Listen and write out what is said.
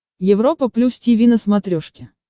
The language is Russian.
европа плюс тиви на смотрешке